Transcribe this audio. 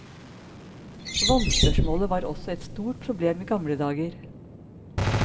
Vannspørsmålet var også et stort problem i gamle dager.